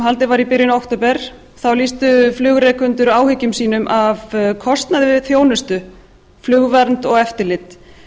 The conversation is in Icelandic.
haldið var í byrjun október þá lýstu flugrekendur áhyggjum sínum af kostnaði við þjónustu flugvernd og eftirlit